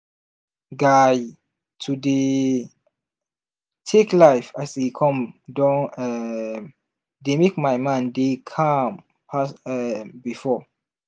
guy to dey tek life as e come don um dey mek my mind dey calm pass um before.